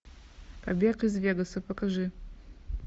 побег из вегаса покажи